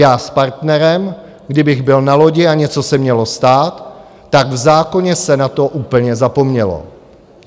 Já s partnerem, kdybych byl na lodi a něco se mělo stát, tak v zákoně se na to úplně zapomnělo.